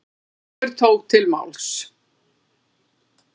Sigurbjörn tók til máls.